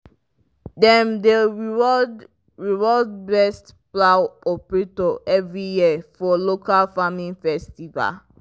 dem dey reward reward best plow operator every year for local farming festival.